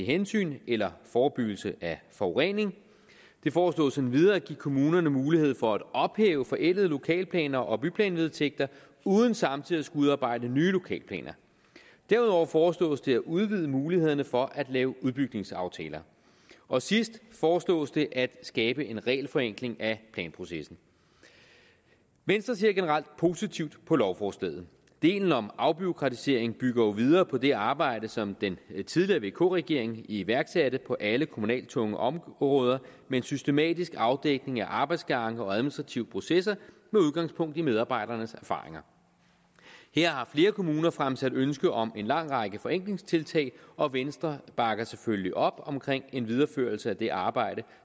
hensyn eller forebyggelse af forurening det foreslås endvidere at give kommunerne mulighed for at ophæve forældede lokalplaner og byplanvedtægter uden samtidig at skulle udarbejde nye lokalplaner derudover foreslås det at udvide mulighederne for at lave udbygningsaftaler og sidst foreslås det at skabe en regelforenkling af planprocessen venstre ser generelt positivt på lovforslaget delen om afbureaukratisering bygger jo videre på det arbejde som den tidligere vk regering iværksatte på alle kommunalt tunge områder med en systematisk afdækning af arbejdsgange og administrative processer med udgangspunkt i medarbejdernes erfaringer her har flere kommuner fremsat ønske om en lang række forenklingstiltag og venstre bakker selvfølgelig op om en videreførelse af det arbejde